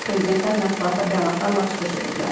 Prezidentlər mətbuata bəyanatlarla çıxış ediblər.